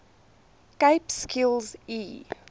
cape skills e